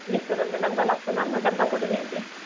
मिस्टरांना डब्बा लागतो ना मग डब्बा करून येते.